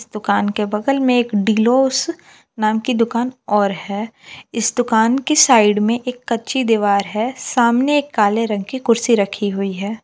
दुकान के बगल में एक डिलोस नाम की दुकान और है इस दुकान की साइड में एक कच्ची दीवार है। सामने काले रंग की कुर्सी रखी हुई है।